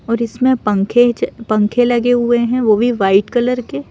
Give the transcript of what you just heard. और इसमें पंखे च पंखे लगे हुए हैं वो भी वाइट कलर के--